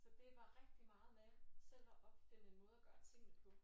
Så det var rigtig meget med selv at opfinde en måde at gøre tingene på